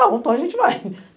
Bom, então, a gente vai.